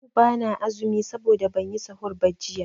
Yau bana azumi saboda banyi sahur ba jiya.